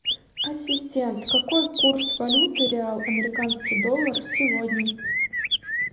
ассистент какой курс валюты реал американский доллар сегодня